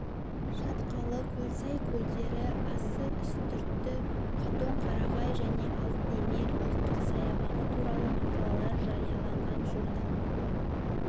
шатқалы көлсай көлдері ассы үстірті қатон-қарағай және алтын емел ұлттық саябағы туралы мақалалар жарияланған журнал